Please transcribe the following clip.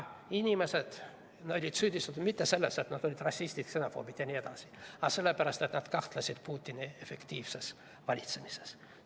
Inimesi ei süüdistatud mitte selles, et nad olid rassistid, ksenofoobid jne, vaid sellepärast, et nad kahtlesid Putini efektiivses valitsemises.